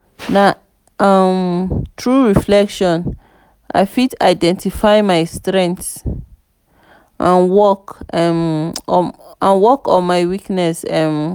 na um through reflection i fit identify my strengths and work um on my weaknesses. um